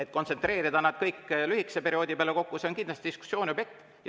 Kui kontsentreerida nad kõik lühikese perioodi peale kokku, siis see on kindlasti diskussiooni objekt.